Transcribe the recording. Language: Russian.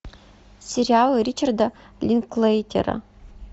сериал ричарда линклейтера